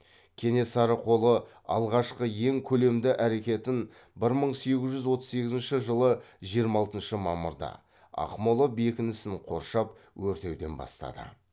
кенесары қолы алғашқы ең көлемді әрекетін бір мың сегіз жүз отыз сегізінші жылы жиырма алтыншы мамырда ақмола бекінісін қоршап өртеуден бастады